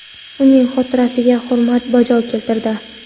uning xotirasiga hurmat bajo keltirdi.